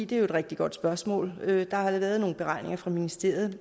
det er et rigtig godt spørgsmål der er lavet nogle beregninger fra ministeriets